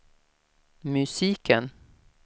musiken